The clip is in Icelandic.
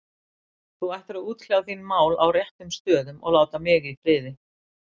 Þú ættir að útkljá þín mál á réttum stöðum og láta mig í friði.